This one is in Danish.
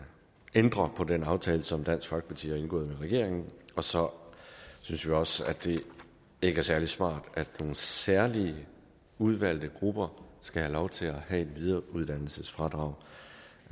ændre på den aftale som dansk folkeparti har indgået med regeringen og så synes vi også at det ikke er særlig smart at nogle særlige udvalgte grupper skal have lov til at have et videreuddannelsesfradrag